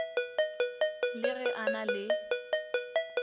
le ge a na le